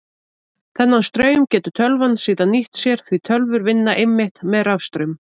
Þennan straum getur tölvan síðan nýtt sér því tölvur vinna einmitt með rafstraum.